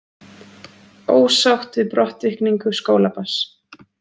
Ósátt við brottvikningu skólabarns